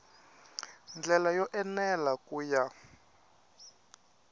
ndlela yo enela ku ya